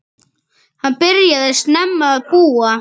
Hann byrjaði snemma að búa.